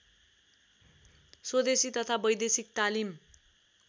स्वदेशी तथा वैदेशिक तालिम